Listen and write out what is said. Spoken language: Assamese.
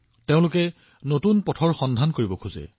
তেওঁলোকে নতুন পথ সৃষ্টি কৰিব বিচাৰে